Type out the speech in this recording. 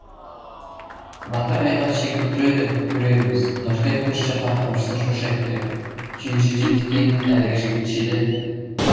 батыр айбат шегіп тұр еді көрерміз нұртай көш жаққа қамшысын шошайтты түйе жетектеген әлгі жігіт желе